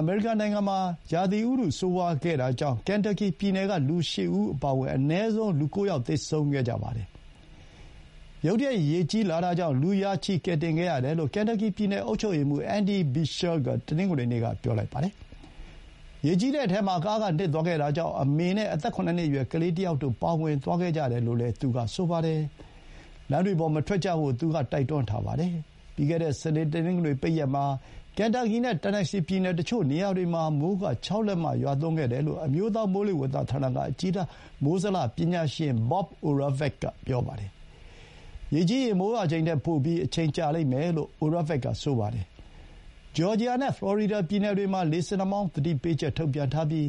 အမေရိကန်နိုင်ငံမှာ မကြာသေးမီက ရာသီဥတု ဆိုးဝါးခဲ့တာကြောင့် ကန်တပ်ကီပြည်နယ်က လူ ၈ ဦးအပါအဝင် အနည်းဆုံး လူ ၉ ဦးသေဆုံးခဲ့ပါတယ်။ ရုတ်တရက် ရေကြီးလာတာကြောင့် လူ ရာချီ ကယ်တင်ခဲ့ရတယ်လို့ ကန်တပ်ကီပြည်နယ် အုပ်ချုပ်ရေးမှူး Andy Beshear က တနင်္ဂနွေနေ့က ပြောပါတယ်။ ရေကြီးတဲ့အထဲမှာ ကားက နစ်သွားတာကြောင့် မိခင်ဖြစ်သူနဲ့ အသက် ၇ နှစ်အရွယ် ကလေးတယောက်တို့ ပါဝင်သွားခဲ့ကြတယ်လို့လည်း သူကဆိုပါတယ်။လမ်းတွေပေါ် မထွက်ကြဖို့ သူက တိုက်တွန်းထားပါတယ်။ ပြီးခဲ့တဲ့ စနေ တနင်္ဂနွေ ပိတ်ရက်မှာ ကန်တပ်ကီနဲ့ တန်နက်ဆီပြည်နယ် တချို့နေရာတွေမှာ မိုးရေချိန် ၆ လက်မ ရွာသွန်းခဲ့တယ်လို့ အမျိုးသား မိုးလေဝသဌာနက အကြီးတန်း မိုးဇလ ပညာရှင် Bob Oravec က ပြောပါတယ်။ ရေကြီးရင် မိုးရွာချိန်ထက် ပိုပြီး အချိန်ကြာလိမ့်မယ်လို့ Oravec က ဆိုပါတယ်။ ဂျော်ဂျီယာနဲ့ ဖလော်ရီဒါ ပြည်နယ်တွေမှာ လေဆင်နှာမောင်း သတိပေးချက် ထုတ်ပြန်ထားပြီး